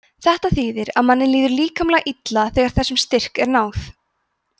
þetta þýðir að manni líður líkamlega illa þegar þessum styrk er náð